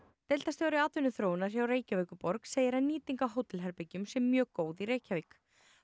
deildarstjóri atvinnuþróunar hjá Reykjavíkurborg segir að nýting á hótelherbergjum sé mjög góð í Reykjavík